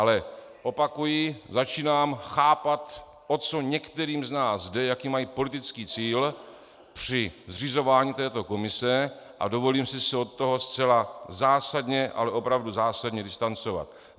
Ale opakuji - začínám chápat, o co některým z nás jde, jaký mají politický cíl při zřizování této komise, a dovolím si se od toho zcela zásadně, ale opravdu zásadně distancovat.